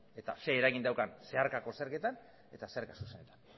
eta ze eragin daukan zeharkako zergetan eta zerga zuzenetan